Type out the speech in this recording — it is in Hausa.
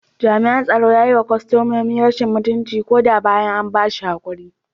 Jami’an tsaro a kasuwar ya yi wa kwastomomi rashin mutunci ko da bayan an ba shi hakuri.